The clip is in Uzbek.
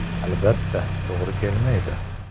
Albatta, to‘g‘ri kelmaydi.